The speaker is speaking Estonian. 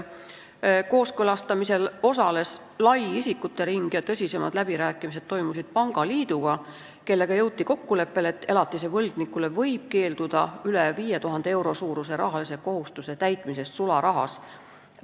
Kooskõlastamisel osales lai isikute ring ja tõsisemad läbirääkimised toimusid pangaliiduga, kellega jõuti kokkuleppele, et elatise võlgnikule võib keelduda üle 5000 euro suuruse rahalise kohustuse täitmisest sularahas.